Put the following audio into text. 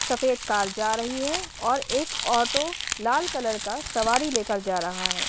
सफेद कार जा रही है और एक ऑटो लाल कलर का सवारी लेकर जा रहा है।